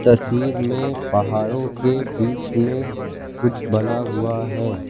तस्वीर में पहाड़ों के बीच में कुछ में कुछ बना हुआ है।